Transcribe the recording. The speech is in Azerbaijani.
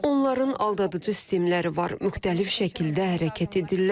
Onların aldadıcı sistemləri var, müxtəlif şəkildə hərəkət etdilər.